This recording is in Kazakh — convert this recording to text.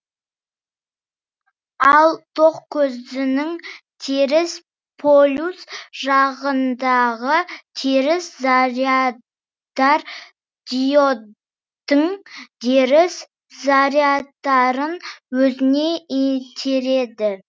ал ток көзінің теріс полюс жағындағы теріс зарядтар диодтың теріс зарядтарын өзіне итереді